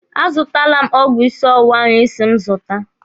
A zụtala m ọgwụ ịsị ọwụwa ahụ Ị si m zụta.